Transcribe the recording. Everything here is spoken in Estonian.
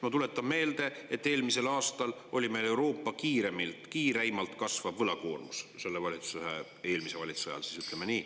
Ma tuletan meelde, et eelmisel aastal, eelmise valitsuse ajal, ütleme nii, oli meil Euroopa kiireimalt kasvav võlakoormus.